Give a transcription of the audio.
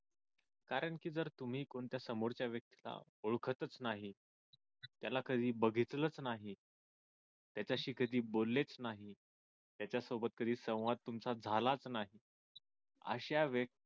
कारंकी जर तुम्ही कोणत्या समोरच्या व्यक्तीला ओळखतच नाही त्याला कधी बघितलेलंच नाही त्याच्याशी कधी बोललेच नाही त्याच्या सोबत कधी संवाद तुमचा झालाच नाही अशा